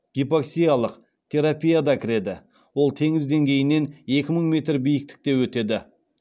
гипоксиялық терапия да кіреді ол теңіз деңгейінен екі мың метр биіктікте өтеді